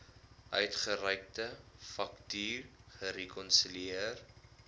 uitgereikte faktuur gerekonsilieer